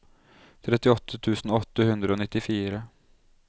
trettiåtte tusen åtte hundre og nittifire